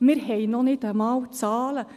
Wir haben noch nicht einmal Zahlen.